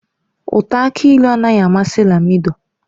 Ụtọ aki ịlụ anaghị amasị Lamido.